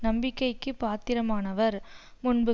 நம்பிக்கைக்கு பாத்திரமானவர் முன்பு